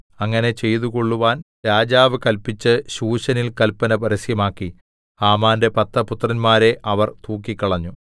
അങ്ങനെ ചെയ്തുകൊള്ളുവാൻ രാജാവ് കല്പിച്ച് ശൂശനിൽ കല്പന പരസ്യമാക്കി ഹാമാന്റെ പത്ത് പുത്രന്മാരെ അവർ തൂക്കിക്കളഞ്ഞു